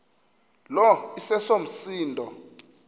lo iseso msindo